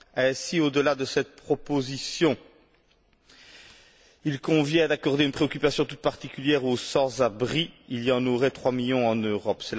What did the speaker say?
Ainsi, au delà de cette proposition, il convient d'accorder une attention toute particulière aux sans abri il y en aurait trois millions en Europe.